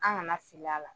An kana fili a la